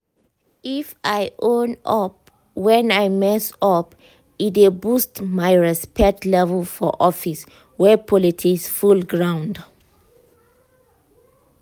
if i own up when i mess up e dey boost my respect level for office wey politics full ground.